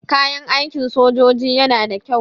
Kayan aikin sojoji yana da kyau.